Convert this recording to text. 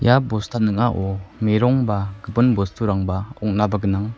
ia bosta ning·ao merong ba gipin bosturangba ong·naba gnang.